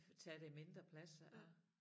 Tage det mindre plads og